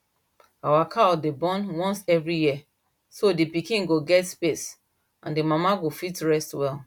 our cow dey born once every year so the pikin go get space and the mama go fit rest well